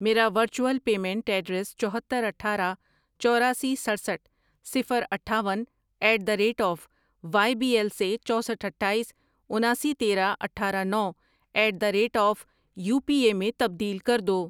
میرا virtual payment address چوہتر، اٹھارہ، چوراسی، سٹرسٹھ ،صفر، اٹھاون at the rate of Y B L سے چوسٹھ ،اٹھایس، اناسی، تیرہ، اٹھارہ، نو at the rate of U P A میں تبدیل کر دو۔